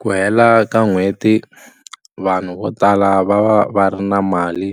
Ku hela ka n'hweti vanhu vo tala va va va ri na mali